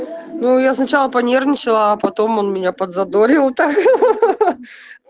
ну я сначала понервничала а потом он меня подзадорил так ха-ха